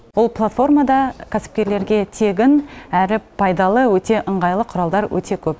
ол платформада кәсіпкерлерге тегін әрі пайдалы өте ыңғайлы құралдар өте көп